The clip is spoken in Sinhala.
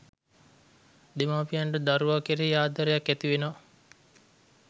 දෙමාපියන්ට දරුවා කෙරෙහි ආදරයක් ඇතිවෙනවා